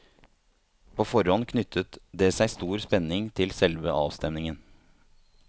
På forhånd knyttet det seg stor spenning til selve avstemningen.